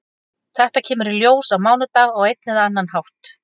Þetta kemur í ljós á mánudag á einn eða annan hátt.